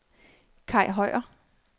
Kai Høyer